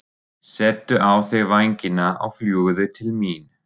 Settu á þig vængina og fljúgðu til mín.